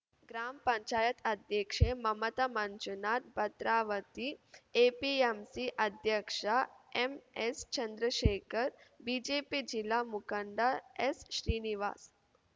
gram panchayat ಅಧ್ಯಕ್ಷೆ Mamata Manjunath Bhadravati APMC ಅಧ್ಯಕ್ಷ ಎಂಎಸ್‌ಚಂದ್ರಶೇಖರ್‌ BJP ಜಿಲ್ಲಾ ಮುಖಂಡ ಎಸ್‌ಶ್ರೀನಿವಾಸ್‌